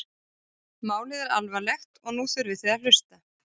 Málið er alvarlegt og nú þurfið þið að hlusta?